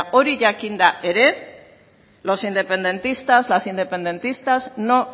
hori jakinda ere los independentistas las independentistas no